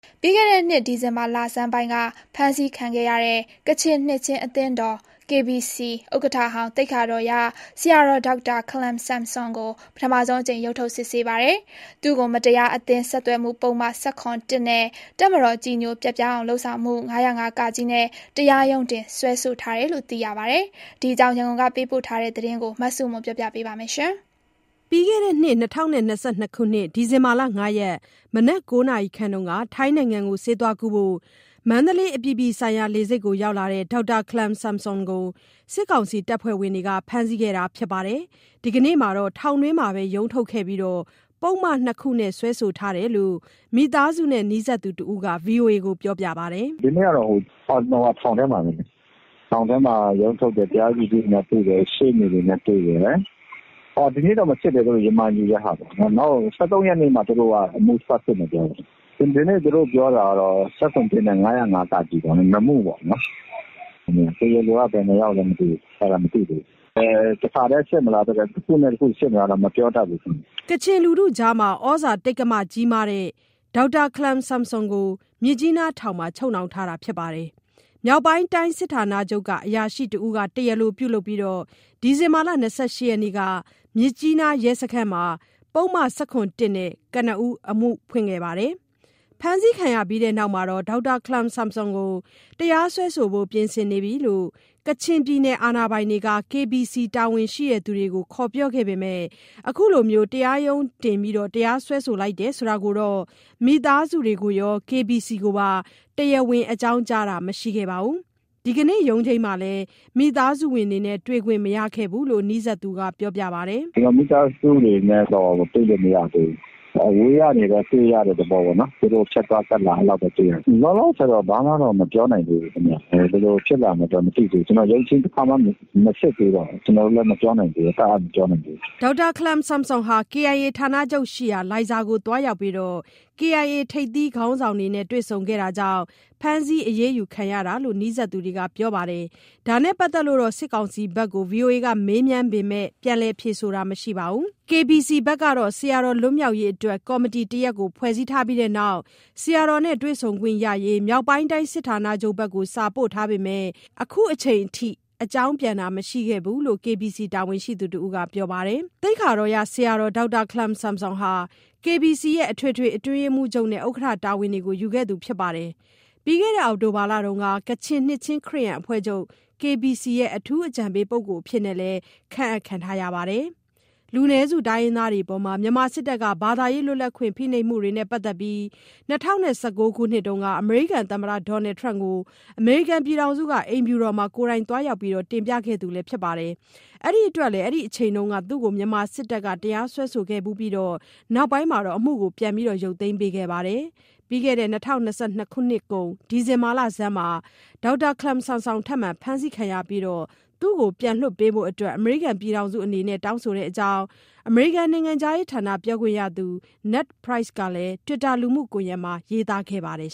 ပြီးခဲ့တဲ့နှစ် ဒီဇင်ဘာလဆန်းပိုင်းက ဖမ်းဆီးခံရတဲ့ ကချင်နှစ်ခြင်းအသင်းတော်(KBC) ဥက္ကဋ္ဌဟောင်း သိက္ခာတော်ရ ဆရာတော် ဒေါက်တာခလမ်ဆမ်ဆွန်ကို ပထမဆုံးအကြိမ် ရုံးထုတ်စစ်ဆေးပါတယ်။ သူ့ကို မတရားအသင်းဆက်သွယ်မှုပုဒ်မ ၁၇(၁)၊ နဲ့ တပ်မတော်ကြည်ညိုပျက်ပြားအောင်လုပ်ဆောင်မှု ၅၀၅-က နဲ့ တရားရုံးတင်စွဲဆိုထားတယ်လို့သိရပါတယ်။ ဒီအကြောင်း ရန်ကုန်ကပေးပို့တဲ့သတင်း မဆုမွန်က ပြောပြပါမယ်။ ဒီဇင်ဘာ ၅ ရက် မနက် ၉ နာရီခန့်က ထိုင်းနိုင်ငံကို ဆေးသွားကုဖို့ မန္တလေး အပြည်ပြည်ဆိုင်ရာ လေဆိပ်မှာ၊ ဒေါက်တာခလမ်ဆမ်ဆွမ်ကို စစ်ကောင်စီ တပ်ဖွဲ့ဝင်တွေက ဖမ်းဆီးခဲ့တာပါ။ ဒီနေ့မှာတော့ ထောင်တွင်းမှာပဲ ရုံးထုတ်ခဲ့ပြီး၊ ပုဒ်မနှစ်ခုနဲ့ စွဲဆိုထားတယ်လို့ မိသားစုနဲ့နီးစပ်သူတဦးက ဗွီအိုအေကို ပြောပါတယ်။ "ဒီနေ့ကတော့ ထောင်ထဲမှာပဲ ထောင်ထဲမှာရုံးထုတ်တယ်။ တရားသူကြီးနဲ့တွေ့တယ်။ ရှေ့နေတွေနဲ့ တွေ့တယ်။ ဒီနေ့တော့မစစ်ဘူး ရမန်ယူတာပေါ့၊ နောက် ၁၃ရက်နေ့ကိုပြန်ချိန်းထားတယ်။ အဲနေ့မှ အမှုစစစ်မယ်ပြောတယ်။ ဒီနေ့ပြောတာက ၁၇/၁ ရယ် ၅၀၅-က ရယ် ၂မှုပေါ့နော်။ တရားလိုက ဘယ်နှယောက်လဲတော့မသိဘူး အဲဒါမသိသေးဘူး။ တခါထဲစစ်မလား တခုနဲ့ တခုစစ်မလားတော့ ခုမပြောတတ်သေးဘူး။" ကချင်လူထုအကြား ဩဇာတိက္ကမကြီးမားတဲ့ ဒေါက်တာခလမ်ဆွမ်ဆွန်ကို မြစ်ကြီးနားထောင်မှာ ချုပ်နှောင်ထားတာပါ။ မြောက်ပိုင်းတိုင်းစစ်ဌာနချုပ်က အရာရှိတဦးက တရားလိုပြုလုပ်ပြီး ဒီဇင်ဘာ ၂၈ ရက်နေ့က မြစ်ကြီးနားရဲစခန်းမှာ ပုဒ်မ ၁၇ (၁) နဲ့ ကနဦး အမှုဖွင့်ခဲ့ပါတယ်။ ဖမ်းဆီးခံရပြီးနောက် ဒေါက်တာခလမ်ဆမ်ဆွမ်ကို တရားစွဲဆိုဖို့ ပြင်ဆင်နေပြီလို့ ကချင်ပြည်နယ်အာဏာပိုင်တွေက KBC တာဝန်ရှိသူတွေကို ခေါ်ပြောခဲ့ပေမယ့် အခုလို တရားရုံးတင် စွဲဆိုလိုက်တယ်ဆိုတာကိုတော့ မိသားစုတွေကိုရော KBC ကိုပါ တရားဝင် အကြောင်းကြားတာမရှိခဲ့တာမရှိခဲ့ပါဘူး။ ဒီကနေ့ရုံးချိန်းမှာလဲမိသားစုဝင်တွေနဲ့ တွေ့ခွင့်မရခဲ့ပါဘူး လို့နီးစပ်သူကပြောပါတယ်။ "မိသားစုတွေနဲ့တွေ့ခွင့်မရသေးဘူး။ အဝေးကနေတော့တွေ့ရတယ်။ ဖြတ်သွားဖြတ်လာ အဲလိုတော့ တွေ့လိုက်ရတယ်။ လောလောဆယ်တော့ ဘာမှတော့မပြောနိုင်သေးဘူး။ ဘယ်လိုဖြစ်လာမလဲ မသိသေးဘူး။ ရုံးချိန်းတခါမှမစစ်သေးတော့လေ။ ကျနော်တို့တပ်အပ်မပြောနိုင်သေးဘူးပေါ့" ဒေါက်တာခလမ်ဆမ်ဆွန်ဟာ KIA ဌာနချုပ်ရှိရာ လိုင်ဇာသို့သွားရောက်ပြီး KIA ထိပ်သီး ခေါင်းဆောင်တွေနဲ့ တွေ့ဆုံခဲ့တာကြောင့် ဖမ်းဆီးအရေးယူခံရတာလို့ နီးစပ်သူတွေက ပြောပါတယ်။ ဒါနဲ့ပတ်သက်လို့တော့ စစ်ကောင်စီဘက်ကို မေးမြန်းပေမယ့် ပြန်လည်ဖြေဆိုတာတော့ မရှိပါဘူး။ KBC ဘက်ကတော့ ဆရာတော်လွတ်မြောက်ရေးအတွက် ကော်မတီတရပ်ဖွဲ့ပြီးနောက်၊ ဆရာတော်နဲ့တွေ့ခွင့်ရရေး မြောက်ပိုင်းတိုင်းစစ်ဌာနချုပ်ဘက်ကို စာပို့ထားပေမယ့် ခုချိန်ထိ အကြောင်းပြန်တာမရှိခဲ့ဘူးလို့ KBC တာဝန်ရှိသူတဦးက ပြောပါတယ်။ သိက္ခာတော်ရဆရာ ဒေါက်တာ ခလမ်ဆမ်ဆွမ် ဟာ KBC ရဲ့ အထွေထွေအတွင်းရေးမှုးချုပ်နဲ့ ဥက္ကဋ္ဌ တာဝန်တွေကို ယူခဲ့သူဖြစ်ပြီး ပြီးခဲ့တဲ့ အောက်တိုဘာလက ကချင်နှစ်ခြင်း ခရစ်ယာန်အဖွဲ့ချုပ် "KBC ရဲ့ အထူးအကြံပေးပုဂ္ဂိုလ်" အဖြစ် ခန့်အပ်ခံရပါတယ်။ လူနည်းစုတိုင်းရင်းသားတွေအပေါ် မြန်မာစစ်တပ်က ဘာသာရေး လွတ်လပ်ခွင့် ဖိနှိပ်မှုနဲ့ ပတ်သက်ပြီး ၂၀၁၉ ခုနှစ်က အမေရိကန်သမ္မတ ဒေါ်နယ်ထရမ့်ကို အမေရိကန်ပြည်ထောင်စုအိမ်ဖြူတော်မှာ ကိုယ်တိုင်သွားရောက် တင်ပြခဲ့သူလည်းဖြစ်ပါတယ်။ အဲဒါအတွက်လည်း အဲဒီအချိန်တုန်းက သူ့ကို မြန်မာစစ်တပ်က တရားစွဲဆိုခဲ့ဖူးပြီး နောက်ပိုင်း အမှုရုတ်သိမ်းပေးခဲ့ပါတယ်။ ပြီးခဲ့တဲ့နှစ်ကုန် ဒီဇင်ဘာလဆန်းမှာ ထပ်မံဖမ်းခံရပြီးနောက် ဒေါက်တာခလမ်ဆွမ်ဆွန်ကို ပြန်လွှတ်ပေးဖို့ အမေရိကန်ပြည်ထောင်စုအနေနဲ့ တောင်းဆိုတဲ့အကြောင်း အမေရိကန်နိုင်ငံခြားရေးဌာန ပြောခွင့်ရသူ နက်ဒ်ပရိုက်စ် (Ned Price) ကလည်း တွစ်တာလူမှုကွန်ယက်မှာ ရေးသားခဲ့ပါတယ်